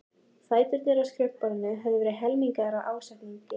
Fæturnir á skrifborðinu höfðu verið helmingaðir af ásetningi.